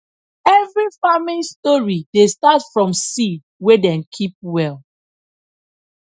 every farming story dey start from seed wey dem keep well